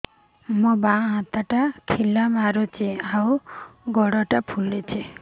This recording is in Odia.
ମୋ ବାଆଁ ହାତଟା ଖିଲା ମାରୁଚି ଆଉ ଗୁଡ଼ ଟା ଫୁଲୁଚି